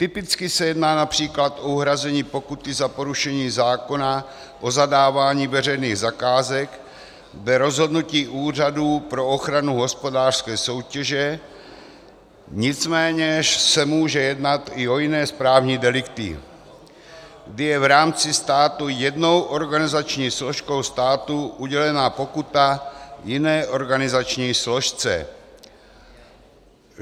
Typicky se jedná například o uhrazení pokuty za porušení zákona o zadávání veřejných zakázek dle rozhodnutí Úřadu pro ochranu hospodářské soutěže, nicméně se může jednat i o jiné správní delikty, kdy je v rámci státu jednou organizační složkou státu udělena pokuta jiné organizační složce.